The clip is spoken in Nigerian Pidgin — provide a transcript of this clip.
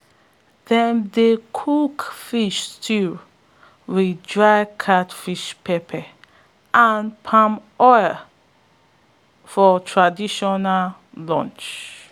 dem dey cook fish stew wit dried catfish pepe and palm oil for traditional lunch